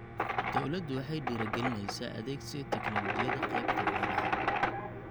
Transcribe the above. Dawladdu waxay dhiirigelinaysaa adeegsiga tignoolajiyada qaybta beeraha.